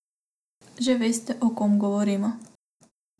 Že veste, o kom govorimo?